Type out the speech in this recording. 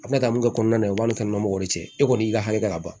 A bɛna min kɛ kɔnɔna na i b'a ni kɛnɛmana mɔgɔw de cɛ e kɔni y'i ka hakɛ ka ban